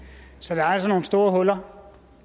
så der er altså nogle store huller og